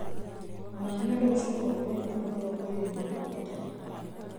Rora nyondo ũcoke wongerere mĩaka mirongo ĩrĩ na ĩtano